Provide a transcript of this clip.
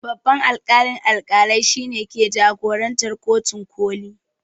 Babban alƙalin alƙalai shine ke jagorantar kotun ƙoli